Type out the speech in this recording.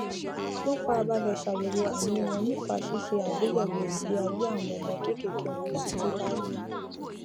wọn farabalẹ ṣàyèwò àìní wọn nípa ṣíṣe àgbéyèwò ìgbé ayé àwọn ọmọ kéékèèké wọn títí láé